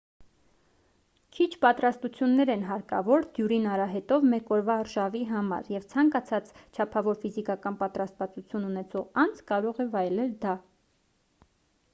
քիչ պատրաստություններ են հարկավոր դյուրին արահետով մեկ օրվա արշավի համար և ցանկացած չափավոր ֆիզիկական պատրաստվածություն ունեցող անձ կարող է վայելել դա